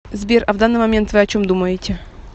сбер а в данный момент вы о чем думаете